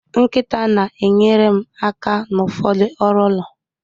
Nkịta na-enyere m aka n'ụfọdụ ọrụ ụlọ